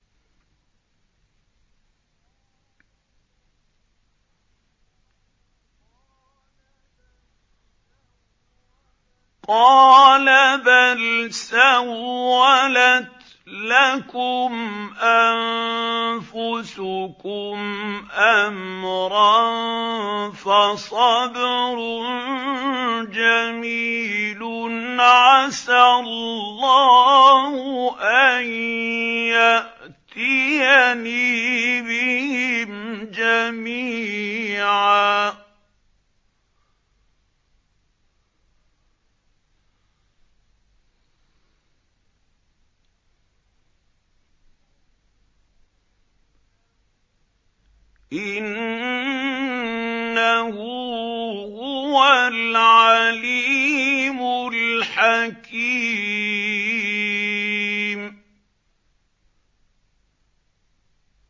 قَالَ بَلْ سَوَّلَتْ لَكُمْ أَنفُسُكُمْ أَمْرًا ۖ فَصَبْرٌ جَمِيلٌ ۖ عَسَى اللَّهُ أَن يَأْتِيَنِي بِهِمْ جَمِيعًا ۚ إِنَّهُ هُوَ الْعَلِيمُ الْحَكِيمُ